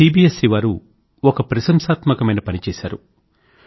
CBS C వారు ఒక ప్రశంసాత్మకమైన పని చేశారు